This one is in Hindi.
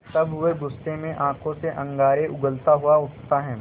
तब वह गुस्से में आँखों से अंगारे उगलता हुआ उठता है